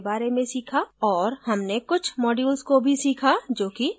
और हमने कुछ modules को भी सीखा जो कि drupal में है